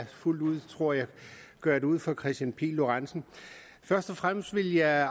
fuldt ud tror jeg gøre det ud for herre kristian pihl lorentzen først og fremmest vil jeg